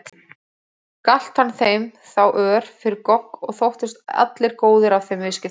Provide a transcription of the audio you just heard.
Galt hann þeim þá ör fyrir gogg og þóttust allir góðir af þeim viðskiptum.